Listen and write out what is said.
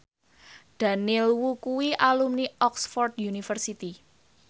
Daniel Wu kuwi alumni Oxford university